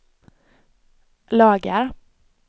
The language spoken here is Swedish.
lagar